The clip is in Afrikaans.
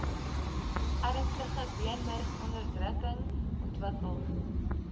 ernstige beenmurgonderdrukking ontwikkel